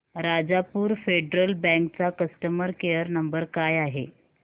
Rajapur federal bank चा customer care नंबर काय आहे